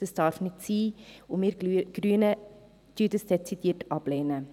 Das darf nicht sein, und wir Grünen lehnen dies dezidiert ab.